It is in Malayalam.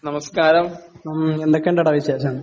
നമസ്കാരം, എന്തൊക്കെയുണ്ടടാ വിശേഷം?